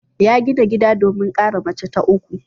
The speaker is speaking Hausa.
Ya gina gida domin kara mace ta uku.